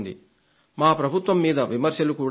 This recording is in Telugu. మా ప్రభుత్వం మీద విమర్శలు కూడా వస్తాయి